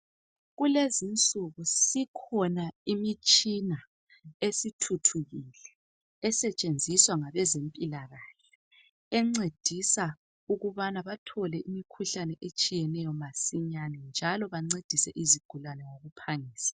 Kulezinsuku sikhona imitshina esithuthukile esetshenziswa ngabezempilakahle encedisa ukubana bathole imkhuhlane etshiyeneyo masinyane njalo bancedise izigulane ngokuphangisa